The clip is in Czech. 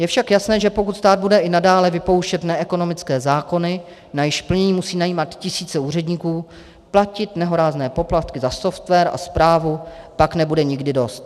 Je však jasné, že pokud stát bude i nadále vypouštět neekonomické zákony, na jejichž plnění musí najímat tisíce úředníků, platit nehorázné poplatky za software a správu, pak nebude nikdy dost.